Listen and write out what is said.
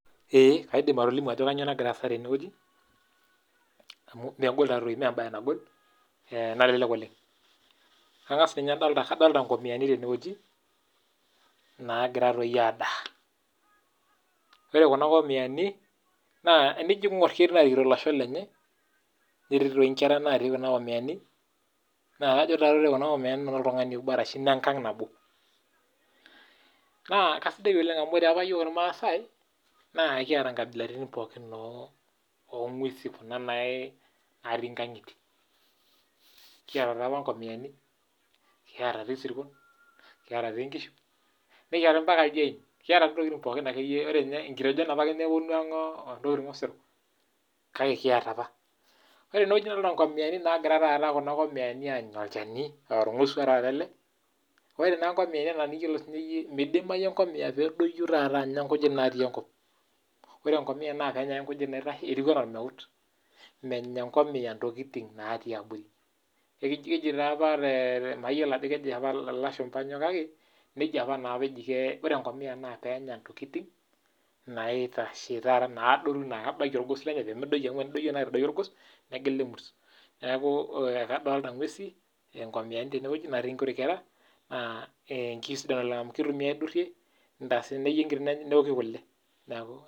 Kaidim atolimu Ajo kainyio nagira asaa tenewueji kadolita nkamiani nagiraa adaa naa tenijo aing'or ketii narikito elesho lenye netii enkera natii Kuna amiyani naa kajo ore Kuna amiyani naa noo oltung'ani obo ashu nengag nabo naa kisidai oleng amu ore iyiok irmaasai kiata nkabilaritin pookin oo ng'uesi Kuna natii nkang'itie kiata ngamiani kiata esirkon kiata enkisuma nikita mbaka eldiyien nkitejon pake nepuonu ang entokitin Osero ore tene nikidolita nkamiani nagira Anya olchani aa orngosua ele ore ngamia ena eniyiolo midim atadoi ainosa nkujit natii enkop ore enkomia naa Kenya ake nkujit naitashe etieu ena ormeut menya engomia ntokitin natii abori ore enkomia naa penyaa entokitin naitashe naa kebaiki orgos lenye amu tenedoyio naa aitadoyio orgos negila emuret neeku kadolita nguy nkamiani natii nkuti kera kisidai oleng amu kitumiai aidurie newoki kule